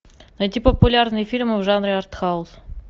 найти популярные фильмы в жанре артхаус